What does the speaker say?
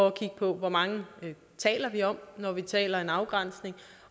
at kigge på hvor mange vi taler om når vi taler om en afgrænsning